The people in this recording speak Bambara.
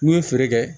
N'u ye feere kɛ